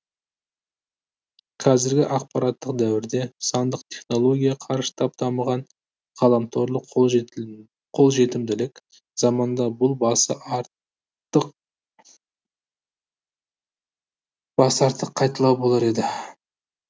қазіргі ақпараттық дәуірде сандық технология қарыштап дамыған ғаламторлық қолжетімділік заманда бұл басы артық қайталау болар еді